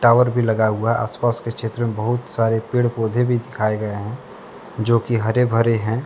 Tower भी लगा हुआ आसपास के क्षेत्र में बहुत सारे पेड़ पौधे भी दिखाए गए हैं जो कि हरे भरे हैं।